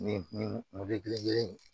Nin belebele in